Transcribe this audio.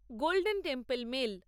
golden temple mail